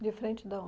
De frente da onde?